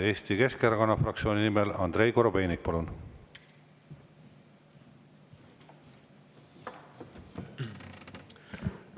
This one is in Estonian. Eesti Keskerakonna fraktsiooni nimel Andrei Korobeinik, palun!